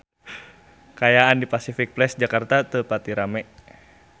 Kaayaan di Pasific Place Jakarta teu pati rame